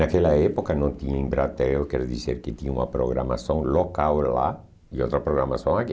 Naquela época não tinha embratel, quer dizer que tinha uma programação local lá e outra programação aqui.